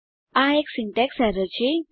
આ એક syntax error છે